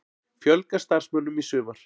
Fjölga starfsmönnum í sumar